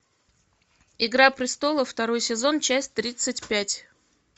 игра престолов второй сезон часть тридцать пять